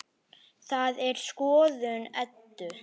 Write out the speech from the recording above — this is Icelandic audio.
Það er skoðun Eddu.